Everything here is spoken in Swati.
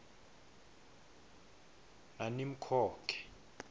nanimkhokhe